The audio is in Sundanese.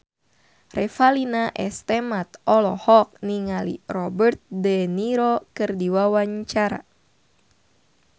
Revalina S. Temat olohok ningali Robert de Niro keur diwawancara